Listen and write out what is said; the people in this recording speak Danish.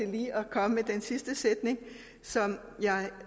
komme med den sidste sætning som